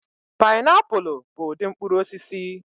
Pịnapụlụ bụ ụdị mkpụrụ osisi.